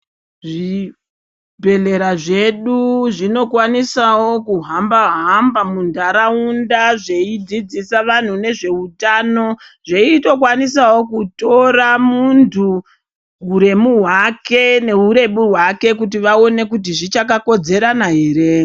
Zvibhedhlera zvedu zvinokwanisawo kuhamba hamba mundaraunda zveidzidzisa antu nezvehutano zveitokwanisawo kutora muntu huremu hwake nehurebu hwake kuti vaone kuti zvichakakodzera here.